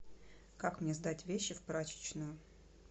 как мне сдать вещи в прачечную